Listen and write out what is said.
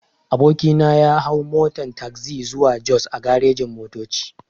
Aboki na ya hau motan tagzi zuwa jos a garejin-motoci.